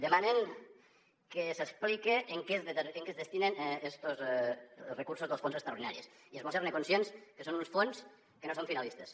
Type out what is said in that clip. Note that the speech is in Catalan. demanen que s’explique a què es destinen estos recursos dels fons extraordinaris i es bo ser conscients que són uns fons que no són finalistes